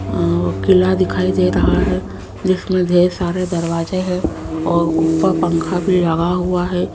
अं वो किला दिखाई दे रहा है जिसमें ढेर सारे दरवाजे है और ऊपर पंखा भी लगा हुआ है।